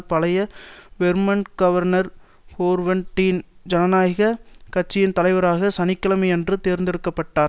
பழைய Vermont governor Howard Dean ஜனநாயக கட்சியின் தலைவராக சனி கிழமையன்று தேர்ந்தெடுக்க பட்டார்